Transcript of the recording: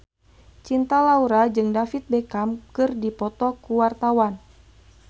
Cinta Laura jeung David Beckham keur dipoto ku wartawan